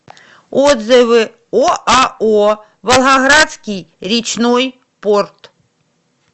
отзывы оао волгоградский речной порт